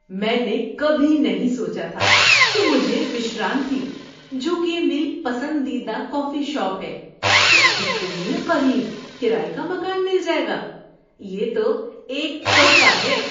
میں نے کبھی نہیں سوچا تھا کہ مجھے وشرانتھی، جو کہ میری پسندیدہ کافی شاپ ہے، کے اتنے قریب کرایے کا مکان مل جائے گا۔ یہ تو ایک تحفہ ہے!